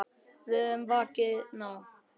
Við höfum vakað nóg.